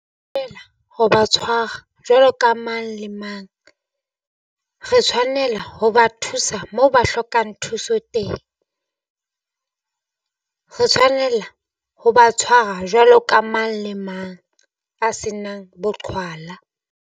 Ho ba tshwara jwalo ka mang le mang re tshwanela ho ba thusa mo ba hlokang thuso teng, re tshwanela ho ba tshwara jwalo ka mang le mang a senang boqhwala.